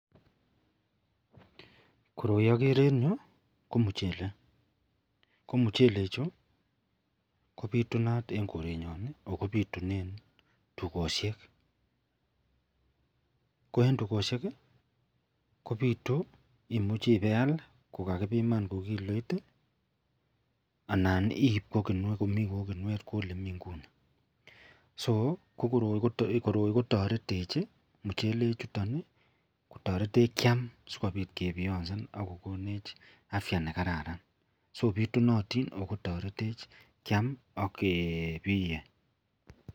Koroi agere en ireyu ko muchelek Chu kobitunat en korenyon akobitunen tugoshek Koen tugoshek kobitu komuche iwe iyal kokaibiman ko kiloit anan koib Komi kinuet Kou elemi nguni akbkoroi kotaretech mchelek chuton kotaretech Kiam sikobit kebiansen akokonech afya nekararan sobitunatin akotaretech Kiam ak kebiye.